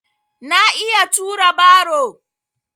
Na iya tura baro.